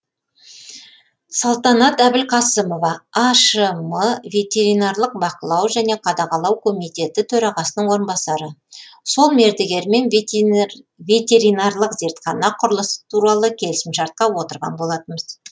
салтанат әбілқасымова ашм ветеринарлық бақылау және қадағалау комитеті төрағасының орынбасары сол мердігермен ветеринарлық зертхана құрылысы туралы келісімшартқа отырған болатынбыз